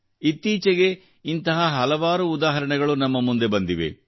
ಇತ್ತೀಚೆಗೆ ಇಂತಹ ಹಲವಾರು ಉದಾಹರಣೆಗಳು ನಮ್ಮ ಮುಂದೆ ಬಂದಿವೆ